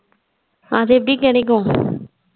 அது எப்டி கிடைக்கும்